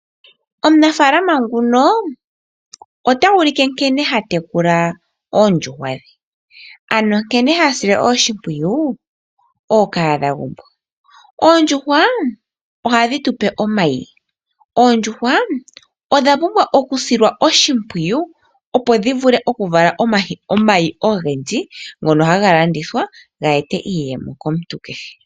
Aanafalama yamwe ohaya ulike nkene haya tekula oondjuhwa dhawo. Nkene hadhi sile oshipwiyu ookahadha. Oondjuhwa ohadhi tupe omayi onkene odha pumbwa okusilwa oshimpwiyu, opo dhi vale omayi ogendji ngoka haga landithwa aantu yiimonene iiyemo.